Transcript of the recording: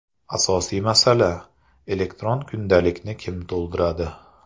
Asosiy masala: elektron kundalikni kim to‘ldiradi?